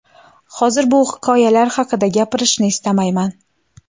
Hozir bu hikoyalar haqida gapirishni istamayman.